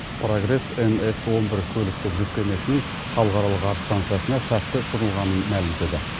прогресс мс он бір көліктік жүк кемесінің халықаралық ғарыш стансасына сәтті ұшырылғанын мәлімдеді